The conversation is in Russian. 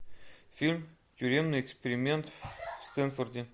фильм тюремный эксперимент в стэнфорде